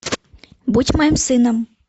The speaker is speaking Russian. будь моим сыном